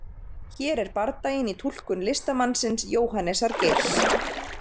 hér er bardaginn í túlkun listamannsins jóhannesar geirs